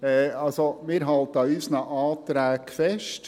Also: Wir halten an unseren Anträgen fest.